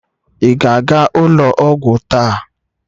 Ị ga-aga ụlọ ọgwụ taa?